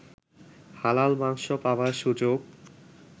হালাল মাংস পাবার সুযোগ